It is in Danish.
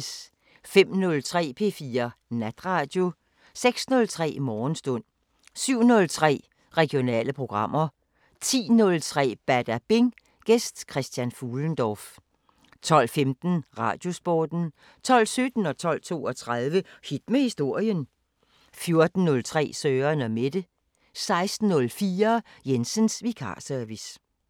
05:03: P4 Natradio 06:03: Morgenstund 07:03: Regionale programmer 10:03: Badabing: Gæst Christian Fuhlendorff 12:15: Radiosporten 12:17: Hit med historien 12:32: Hit med historien 14:03: Søren & Mette 16:04: Jensens vikarservice